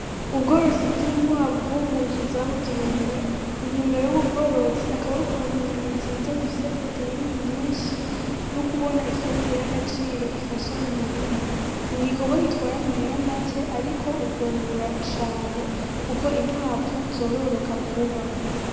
Ubworozi bw'inkwavu mu nzu zabugenewe intumbero y'ububworozi akabo kuronka inyama nziza zifise proteyini nyinshi n'ukubona ifumbire y'agaciro ifasha mu mirima ni igikorwa gitwara amahera mace, ariko ukungura cane, kuko inkwavu zororoka vuba.